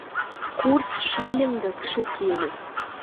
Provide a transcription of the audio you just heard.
курс шиллинга к шекелю